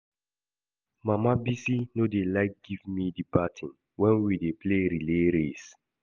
Mama Bisi no dey like give me the baton wen we dey play relay race